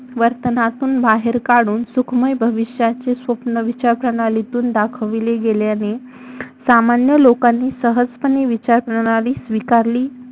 वर्तनातून बाहेर काढून सुखमय भविष्याचे स्वप्न विचारप्रणालीतून दाखविले गेल्याने सामान्य लोकांनी सहजपणे विचारप्रणाली स्वीकारली